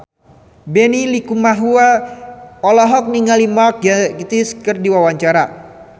Benny Likumahua olohok ningali Mark Gatiss keur diwawancara